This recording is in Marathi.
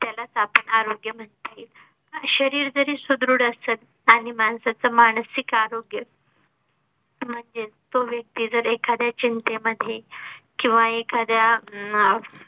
यालाच आपण आरोग्य म्हणता येईल शरीरं जरी सुदृढ असल आणि माणसाचं मानसिक आरोग्य म्हणजेच जर तो व्यक्ती एखादी चिंते मध्ये किंवा एखाद्या अं